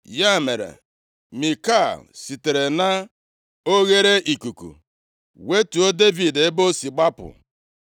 Ya mere, Mikal sitere na oghereikuku wetuo Devid, ebe o si gbapụ.